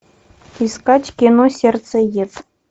искать кино сердцеед